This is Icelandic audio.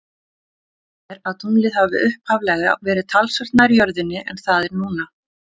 Talið er að tunglið hafi upphaflega verið talsvert nær jörðinni en það er núna.